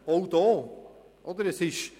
Auch hier gilt: